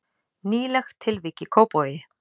Nýlegt tilvik í Kópavogi